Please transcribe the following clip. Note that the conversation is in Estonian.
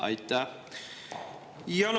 Aitäh!